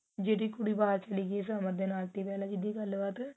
ਜਿਹੜੀ ਉੜੀ ਬਾਹਰ ਛਲੀ ਗਈ ਸਮਰ ਦੇ ਨਾਲ ਸੀ ਪਹਿਲਾਂ